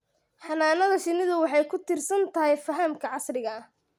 Xannaanada shinnidu waxay ku tiirsan tahay fahamka casriga ah.